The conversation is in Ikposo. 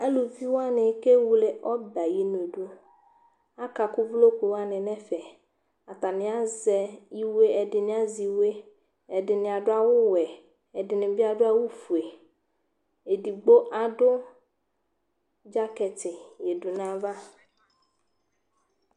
aluvi wani ké wlé ɔbɛ ayi nu du akaku uvloku wani nɛ fɛ atani azɛ iwé ɛdini azɛ iwé ɛdini adu awu wɛ ɛdini bi adu awu foé édigbo adu dzakɛti ya du nu ava